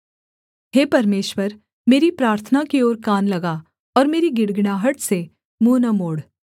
हे परमेश्वर मेरी प्रार्थना की ओर कान लगा और मेरी गिड़गिड़ाहट से मुँह न मोड़